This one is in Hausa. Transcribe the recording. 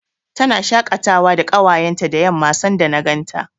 Tana shaƙatawa da ƙawayenta da yamma, sanda na ganta.